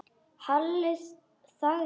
Halli þagði.